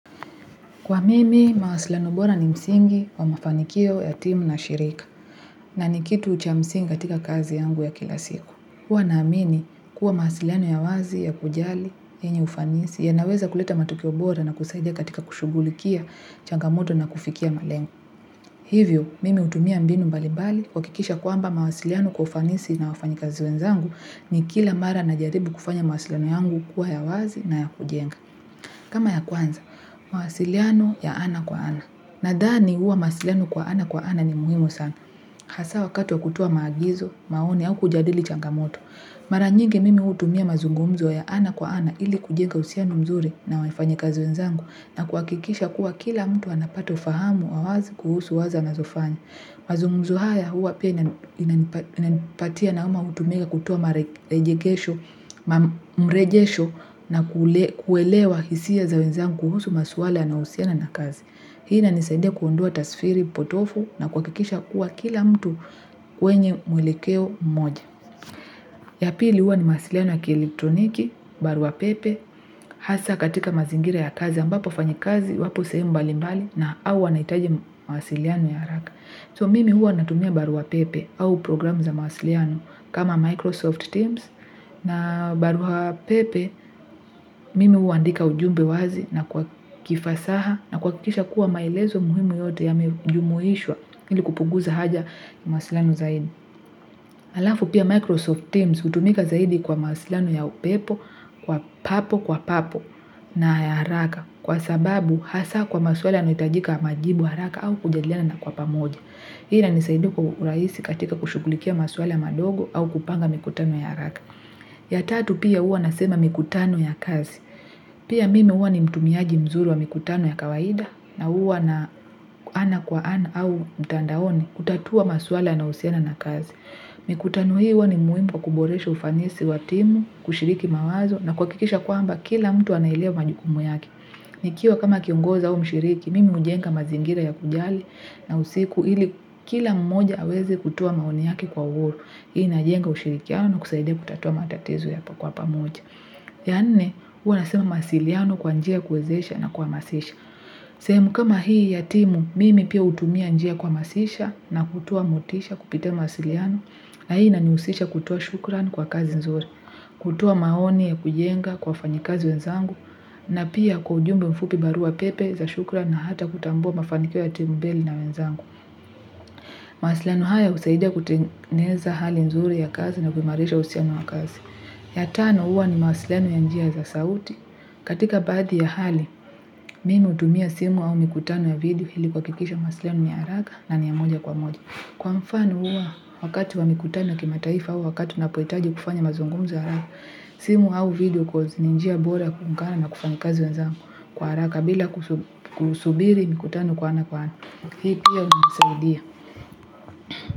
Kwa mimi, mawasiliano bora ni msingi kwa mafanikio ya timu na shirika, na nikitu cha msingi katika kazi yangu ya kila siku. Huwa naamini, kuwa mawasiliano ya wazi ya kujali, yenye ufanisi, yanaweza kuleta matokeo bora na kusaidia katika kushughulikia changamoto na kufikia malengo. Hivyo, mimi hutumia mbinu mbalimbali, kuhakikisha kwamba mawasiliano kwa ufanisi na wafanyikazi wenzangu ni kila mara najaribu kufanya mawasiliano yangu kuwa ya wazi na ya kujenga. Kama ya kwanza, mawasiliano ya ana kwa ana. Nadhani huwa mawasiliano kwa ana kwa ana ni muhimu sana. Hasaa wakati wa kutoa maagizo, maoni au kujadili changamoto. Mara nyingi mimi hutumia mazungumzo ya ana kwa ana ili kujenga uhusiano mzuri na wafanyikazi wenzangu na kuhakikisha kuwa kila mtu anapata ufahamu wa wazi kuhusu wazo anazofanya. Mazungumzo haya huwa pia inanipatia nauma mtu mega kutoa mrejesho na kuelewa hisia za wezangu kuhusu maswala yanayohusiana na kazi. Hii inanisaidia kuondoa tasfiri potofu na kuhakikisha kuwa kila mtu wenye mwelekeo mmoja. Ya pili huwa ni mawasiliano ya kieletroniki, barua pepe, hasaa katika mazingira ya kazi ambapo wafanyikazi wapo sehemu mbalimbali au wanahitaji mawasiliano ya haraka. So mimi huwa natumia barua pepe au programu za mawasiliano kama Microsoft Teams na barua pepe mimi huandika ujumbe wazi na kwa kifasaha na kuhakikisha kuwa maelezo muhimu yote yamejumuishwa ili kupunguza haja na mawasiliano zaidi. Halafu pia Microsoft Teams hutumika zaidi kwa mawasiliano ya upepo kwa papo kwa papo na ya haraka kwa sababu hasaa kwa maswala yanayohitajika majibu haraka au kujadiliana na kwa pamoja. Hii inanisaidia kwa urahisi katika kushughulikia maswala madogo au kupanga mikutano ya haraka. Ya tatu pia huwa nasema mikutano ya kazi. Pia mimi huwa ni mtumiaji mzuri wa mikutano ya kawaida na huwa na ana kwa ana au mtandaoni kutatua maswala yanayohusiana na kazi. Mikutano hii huwa ni muhimu kwa kuboresha ufanisi wa timu, kushiriki mawazo na kuhakikisha kwamba kila mtu anaelewa majukumu yake. Nikiwa kama kiongozi au mshiriki, mimi hujenga mazingira ya kujali na usiku ili kila mmoja aweze kutoa maoni yake kwa wote. Hii inajenga ushirikiano na kusaidia kutatua matatizo yanapokuwa pamoja. Ya nne, huwa nasema mawasiliano kwa njia ya kuwezesha na kuwahamasisha. Sehemu kama hii ya timu mimi pia hutumia njia kuhamasisha na kutoa motisha kupitia mawasiliano na hii inanihusisha kutoa shukran kwa kazi nzuri, kutoa maoni ya kujenga kwa wafanyikazi wenzangu na pia kwa ujumbe mfupi, barua pepe za shukran na hata kutambua mafanikio ya timu mbili na wenzangu. Mawasiliano haya husaidia kutengeneza hali nzuri ya kazi na kuimarisha uhusiano wa kazi. Ya tano huwa ni mawasiliano ya njia za sauti. Katika baadhi ya hali, mimi hutumia simu au mikutano ya video ili kuhakikisha mawasiliano ni haraka na ni ya moja kwa moja. Kwa mfano huwa, wakati wa mikutano ya kima taifa au wakati unapohitaji kufanya mazungumzo haraka. Simu au video coz ni njia bora ya kuungana na wafanyikazi wenzangu kwa haraka bila kusubiri mikutano kwa ana kwa ana. Hii pia hunisaidia.